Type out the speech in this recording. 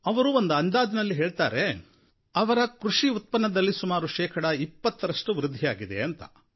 ಅವರು ಒಂದು ಅಂದಾಜಿನಲ್ಲಿ ಹೇಳ್ತಾರೆ ಅವರ ಕೃಷಿ ಉತ್ಪನ್ನದಲ್ಲಿ ಸುಮಾರು ಶೇಕಡಾ 20ರಷ್ಟು ವೃದ್ಧಿಯಾಗಿದೆ ಅಂತ